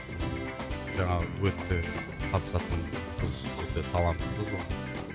жаңағы дуэтке қатысатын қыз өте талантты қыз ол